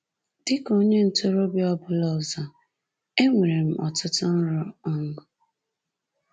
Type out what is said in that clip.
Dị ka onye ntorobịa ọ bụla ọzọ, enwere m ọtụtụ nrọ. um